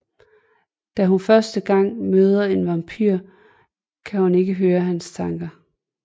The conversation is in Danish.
Da hun første gang møder en vampyr kan hun ikke høre hans tanker